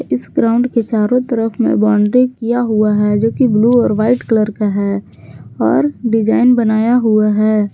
इस ग्राउंड के चारों तरफ में बाउंड्री किया हुआ है जो की ब्लू और वाइट कलर का है और डिजाइन बनाया हुआ है।